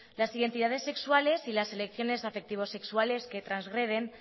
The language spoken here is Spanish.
las identidades sexuales y las elecciones afectivo sexuales que trasgreden